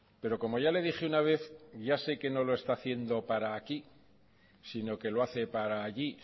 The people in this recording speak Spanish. pero como ya le dije una vez ya sé que no lo está haciendo para aquí sino que lo hace para allí